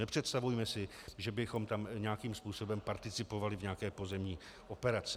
Nepředstavujme si, že bychom tam nějakým způsobem participovali v nějaké pozemní operaci.